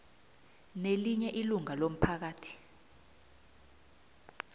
nelinye ilunga lomphakathi